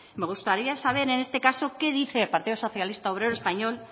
me gustaría saber en este caso qué dice el partido socialista obrero español